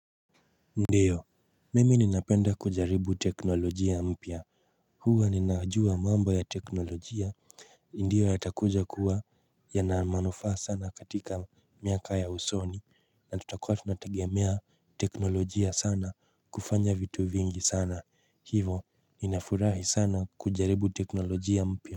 Ndio, mimi ninapenda kujaribu teknolojia mpya. Huwa ninajua mambo ya teknolojia ndiyo yatakuja kuwa yana manufaa sana katika miaka ya usoni na tutakua tunategemea teknolojia sana kufanya vitu vingi sana hivo ninafurahi sana kujaribu teknolojia mpya.